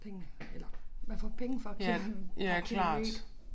Pengene eller man får penge for at køre per kilometer